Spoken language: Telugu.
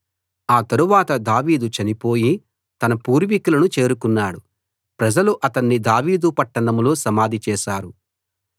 ఆ తరవాత దావీదు చనిపోయి తన పూర్వీకులను చేరుకున్నాడు ప్రజలు అతణ్ణి దావీదు పట్టణంలో సమాధి చేశారు